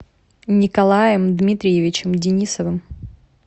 николаем дмитриевичем денисовым